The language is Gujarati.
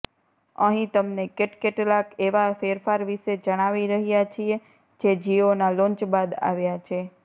અહીં તમને કેટકલાક એવા ફેરફાર વિશે જણાવી રહ્યા છીએ જે જિઓના લોન્ચ બાદ આવ્યા છે